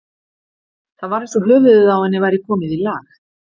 Það var eins og höfuðið á henni væri komið í lag.